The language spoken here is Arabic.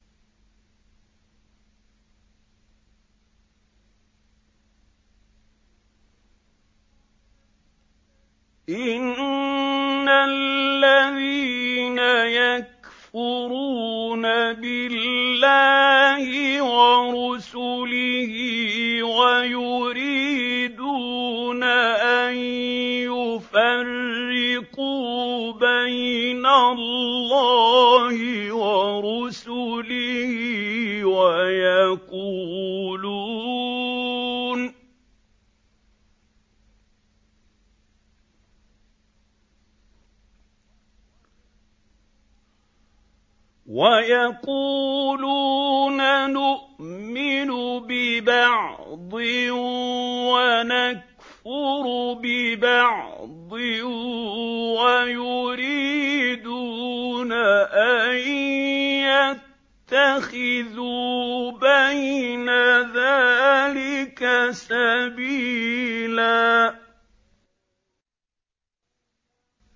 إِنَّ الَّذِينَ يَكْفُرُونَ بِاللَّهِ وَرُسُلِهِ وَيُرِيدُونَ أَن يُفَرِّقُوا بَيْنَ اللَّهِ وَرُسُلِهِ وَيَقُولُونَ نُؤْمِنُ بِبَعْضٍ وَنَكْفُرُ بِبَعْضٍ وَيُرِيدُونَ أَن يَتَّخِذُوا بَيْنَ ذَٰلِكَ سَبِيلًا